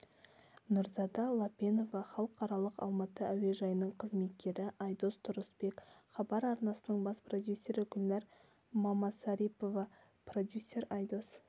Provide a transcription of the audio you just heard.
нұрзада лапенова халықаралық алматы әуежайының қызметкері айдос тұрысбек хабар арнасының бас продюсері гүлнәр мамасарипова продюсер айдос